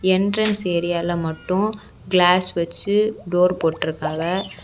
Entrance ஏரியால மட்டு glass வெச்சு டோர் போட்டுருக்காவ.